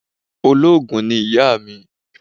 Olóògùn ni ìyá mi.